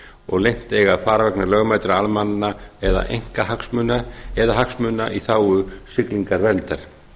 og leynt eiga að fara vegna lögmætra almennra eða einkahagsmuna eða hagsmuna í þágu siglingaverndar